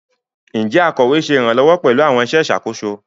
Njẹ akọwe ṣe iranlọwọ pẹlu awọn iṣẹ iṣakoso?